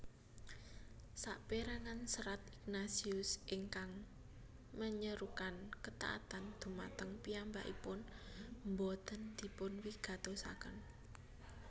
Sapérangan serat Ignatius ingkang menyerukan kataatan dhumateng piyambakipun boten dipunwigatosaken